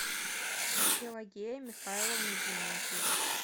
пелагея михайловна дементьева